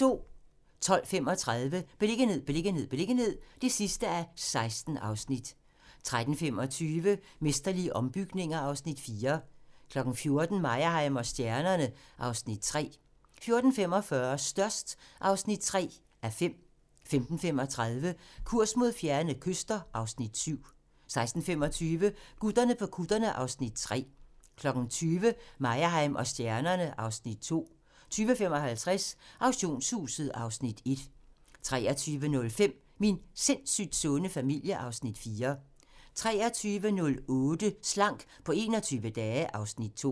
12:35: Beliggenhed, beliggenhed, beliggenhed (16:16) 13:25: Mesterlige ombygninger (Afs. 4) 14:00: Meyerheim & stjernerne (Afs. 3) 14:45: Størst (3:5) 15:35: Kurs mod fjerne kyster (Afs. 7) 16:25: Gutterne på kutterne (Afs. 3) 20:00: Meyerheim & stjernerne (Afs. 2) 20:55: Auktionshuset (Afs. 1) 23:05: Min sindssygt sunde familie (Afs. 4) 23:08: Slank på 21 dage (Afs. 2)